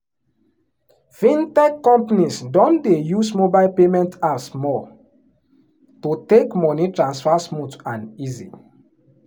fintech companies don dey use mobile payment apps more to make money transfer smooth and easy.